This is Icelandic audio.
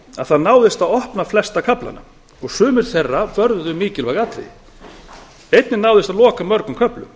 að það náðist að opna flesta kaflana og sumir þeirra vörðuðu mikilvæg atriði einnig náðist að loka mörgum köflum